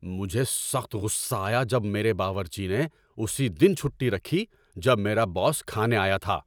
مجھے سخت غصہ آیا جب میرے باورچی نے اسی دن چھٹی رکھی جب میرا باس کھانے آیا تھا۔